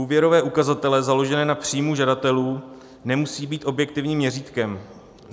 Úvěrové ukazatele založené na příjmu žadatelů nemusí být objektivním měřítkem.